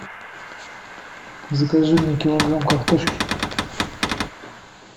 закажи мне килограмм картошки